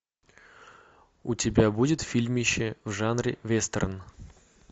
у тебя будет фильмище в жанре вестерн